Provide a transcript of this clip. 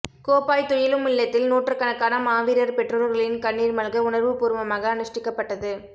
கோப்பாய் துயிலுமில்லத்தில் நூற்றுக்கணக்கான மாவீரர் பெற்றோர்களின் கண்ணீர் மல்க உணர்வுபூர்வமாக அனுஸ்டிக்கப்பட்டது